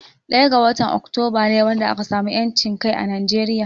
Ɗaya ga watan Oktoba ne ran da aka samu 'yancin kai a Nigeria.